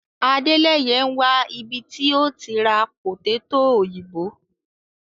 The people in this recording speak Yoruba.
Àdéleyè ń wà ibí tí o ti rá pòtẹ̀tọ̀ oyinbó